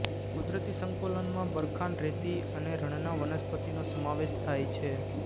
કુદરતી સંકુલમાં બરખાાન રેતી અને રણના વનસ્પતિનો સમાવેશ થાય છે